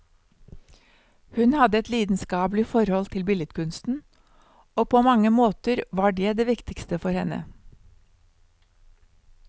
Hun hadde et lidenskapelig forhold til billedkunsten, og på mange måter var det det viktigste for henne.